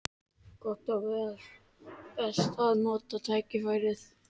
Gott og vel: best að nota tækifærið.